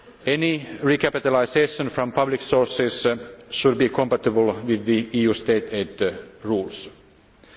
EFSF. Any recapitalisation from public sources should be compatible with the EU rules on state